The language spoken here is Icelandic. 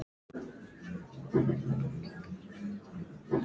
Hún er góð við mig.